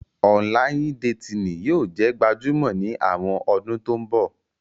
Ọnlayin-detini yóò jẹ gbajumo ni awọn ọdun to nbo.